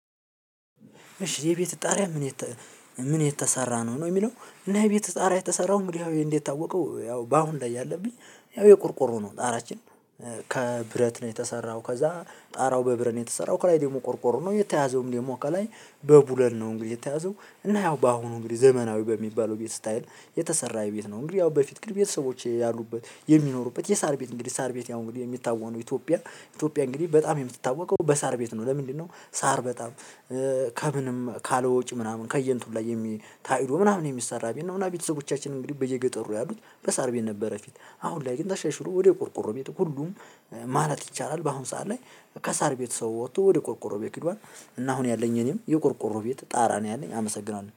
እሺ የቤትህ ጣሪያ ምን ምን የተሰራ ነው? ነው የሚለው። እና የቤት ውስጥ ጣራ የተሰራው እንግዲህ እንደምታወቀው በአሁን ላይ ያለን ያው የቆርቆሮ ነው ጣራችን ከብረት ነው የተሰራው፤ ከዛ ጣራው በብረት ነው የተሰራው ከላይ ደግሞ ቆርቆሮ ነው የተያዘውም ደግሞ ከላይ በብሎን ነው እንግዲህ የተያዘው። እና ያው በአሁኑ እንግዲህ ዘመናዊ በሚባለው ቤት ስታይል የተሰራ ቤት ነው። እንግዲህ ያው በፊት ግን ቤተሰቦቼ ያሉበት የሚኖሩበት የሳር ቤት እንግዲህ ሳር ቤት ያው እንግዲህ የሚታወቅ ነው ኢትዮጵያ፤ ኢትዮጵያ እንግዲህ በጣም የምትታወቀው በሳር ቤት ነው። ለምንድነው ሳር በጣም ከምንም ካለ ወጪ ምናምን ከየእንትኑ ላይ የሚ ታጭዶ ምናምን የሚሰራ ቤት ነውና ቤተሰቦቻችን እንግዲህ በየገጠሩ ያሉት በሳርቤት ነበረ ፊት። አሁን ላይ ግን ተሻሸሎ ወደ ቆርቆሮ ቤት ሁሉም ማለት ይቻላል በአሁን ሰዓት ላይ ከሳር ቤት ሰው ወጥቶ ወደ ቆርቆሮ ቤት ሄዷል እና አሁን ያለኝ እኔም የቆርቆሮ ቤት ጣራ ነው ያለኝ አመሰግናለሁ።